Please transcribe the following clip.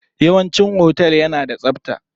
Yawanci otel na da tsabta.